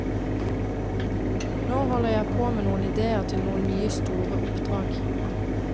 Nå holder jeg på med noen idéer til noen nye store oppdrag.